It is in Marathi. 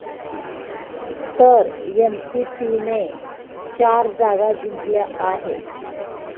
तर एनसीपीने चार जागा जिंकल्या आहेत.